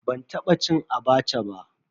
Ban taba cin "Abacha" ba.